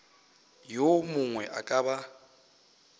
yo mongwe a ka ba